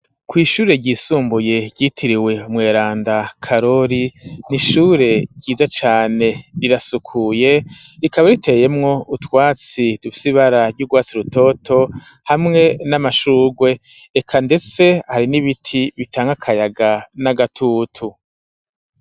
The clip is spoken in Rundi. Kw'ishure ryisumbuye ryitiriwe umweranda karori n'ishure ryiza cane risukuye rikaba riteyemwo utwatsi dufise ibara ry'urwatsi rutoto hamwe n'amashugwe eka ndetse hari n'ibiti bitanga kayaga n'agatutu.